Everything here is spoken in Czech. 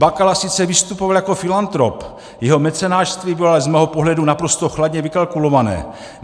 Bakala sice vystupoval jako filantrop, jeho mecenášství bylo ale z mého pohledu naprosto chladně vykalkulované.